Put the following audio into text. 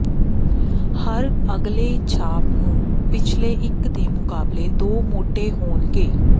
ਹਰ ਅਗਲੇ ਛਾਪ ਨੂੰ ਪਿਛਲੇ ਇੱਕ ਦੇ ਮੁਕਾਬਲੇ ਦੋ ਮੋਟੇ ਹੋਣਗੇ